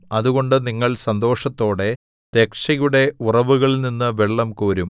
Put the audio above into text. അതുകൊണ്ട് നിങ്ങൾ സന്തോഷത്തോടെ രക്ഷയുടെ ഉറവുകളിൽനിന്നു വെള്ളം കോരും